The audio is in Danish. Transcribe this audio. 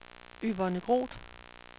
Yvonne Groth